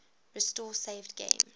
restore saved games